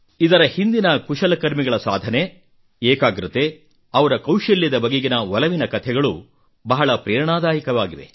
ಇದರ ಹಿಂದಿನ ಕುಶಲಕರ್ಮಿಗಳ ಸಾಧನೆ ಏಕಾಗ್ರತೆ ಅವರ ಕೌಶಲ್ಯದ ಬಗೆಗಿನ ಒಲವಿನ ಕಥೆಗಳು ಸಹ ಬಹಳ ಪ್ರೇರಣಾದಾಯಕವಾಗಿವೆ